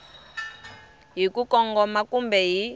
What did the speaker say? hi ku kongoma kumbe hi